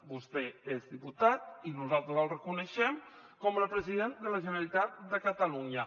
vostè és diputat i nosaltres el reconeixem com a president de la generalitat de catalunya